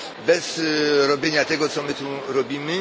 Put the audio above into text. bez robienia tego, co my tu robimy.